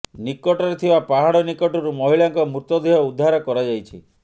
ନିକଟରେ ଥିବା ପାହାଡ ନିକଟରୁ ମହିଳାଙ୍କ ମୃତଦେହ ଉଦ୍ଧାର କରାଯାଇଛି